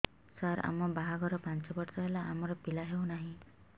ସାର ଆମ ବାହା ଘର ପାଞ୍ଚ ବର୍ଷ ହେଲା ଆମର ପିଲା ହେଉନାହିଁ